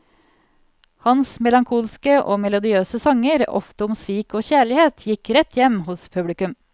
Hans melankolske og melodiøse sanger, ofte om svik og kjærlighet, gikk rett hjem hos publikum.